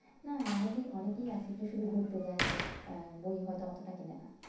না না অনেকে অনেকেই আছে যে শুধু ঘুরতে যায় but আহ বই হয়তো অতোটা কেনে না।